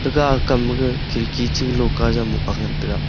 ga kam ma ga khidki cha lohka jam mohga ngan taga.